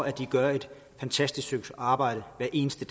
at de gør et fantastisk stykke arbejde hver eneste